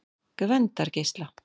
Gvendargeisla